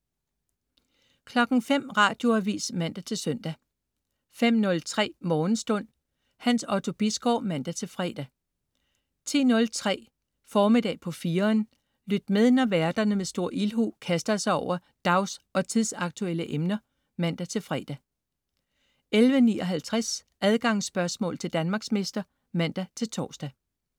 05.00 Radioavis (man-søn) 05.03 Morgenstund. Hans Otto Bisgaard (man-fre) 10.03 Formiddag på 4'eren. Lyt med, når værterne med stor ildhu kaster sig over dags- og tidsaktuelle emner (man-fre) 11.59 Adgangsspørgsmål til Danmarksmester (man-tors)